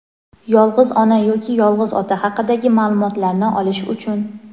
yolg‘iz ona yoki yolg‘iz ota haqidagi ma’lumotlarni olish uchun;.